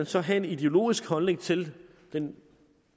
så have en ideologisk holdning til den